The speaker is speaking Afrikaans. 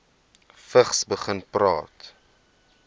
vigs begin praat